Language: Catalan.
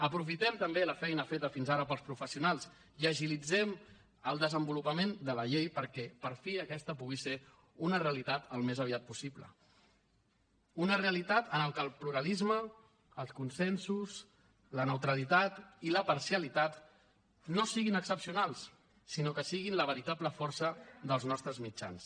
aprofitem també la feina feta fins ara pels professionals i agilitzem el desenvolupament de la llei perquè per fi aquesta pugui ser una realitat al més aviat possible una realitat en la que el pluralisme els consensos la neutralitat i la parcialitat no siguin excepcionals sinó que siguin la veritable força dels nostres mitjans